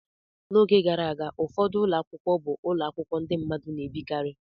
N'oge gara aga, ụfọdụ ụlọ akwụkwọ bụ ụlọ akwụkwọ ndị mmadụ na-ebikarị.